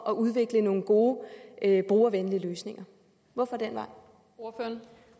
at udvikle nogle gode brugervenlige løsninger hvorfor